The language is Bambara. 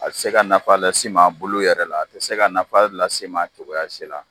A tɛ se ka nafa lase e ma a bulu yɛrɛ la , a tɛ se ka nafa lase e ma cogoya si la